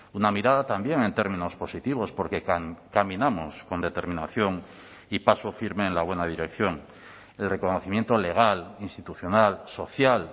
una mirada también en términos positivos porque caminamos con determinación y paso firme en la buena dirección el reconocimiento legal institucional social